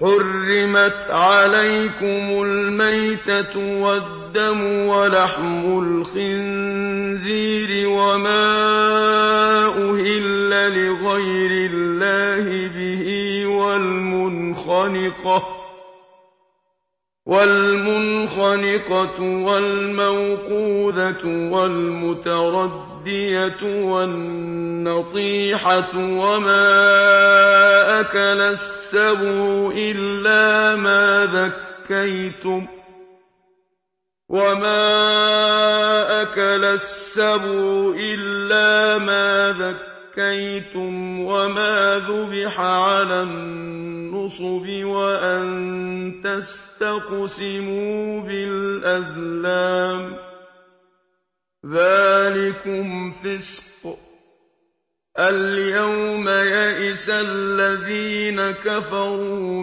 حُرِّمَتْ عَلَيْكُمُ الْمَيْتَةُ وَالدَّمُ وَلَحْمُ الْخِنزِيرِ وَمَا أُهِلَّ لِغَيْرِ اللَّهِ بِهِ وَالْمُنْخَنِقَةُ وَالْمَوْقُوذَةُ وَالْمُتَرَدِّيَةُ وَالنَّطِيحَةُ وَمَا أَكَلَ السَّبُعُ إِلَّا مَا ذَكَّيْتُمْ وَمَا ذُبِحَ عَلَى النُّصُبِ وَأَن تَسْتَقْسِمُوا بِالْأَزْلَامِ ۚ ذَٰلِكُمْ فِسْقٌ ۗ الْيَوْمَ يَئِسَ الَّذِينَ كَفَرُوا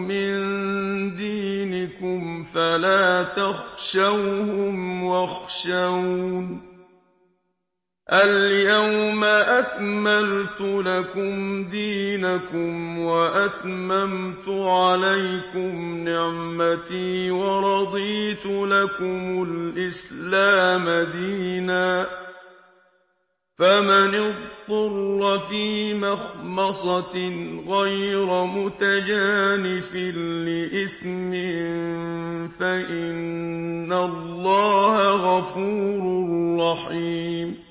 مِن دِينِكُمْ فَلَا تَخْشَوْهُمْ وَاخْشَوْنِ ۚ الْيَوْمَ أَكْمَلْتُ لَكُمْ دِينَكُمْ وَأَتْمَمْتُ عَلَيْكُمْ نِعْمَتِي وَرَضِيتُ لَكُمُ الْإِسْلَامَ دِينًا ۚ فَمَنِ اضْطُرَّ فِي مَخْمَصَةٍ غَيْرَ مُتَجَانِفٍ لِّإِثْمٍ ۙ فَإِنَّ اللَّهَ غَفُورٌ رَّحِيمٌ